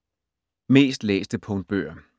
Mest læste punktbøger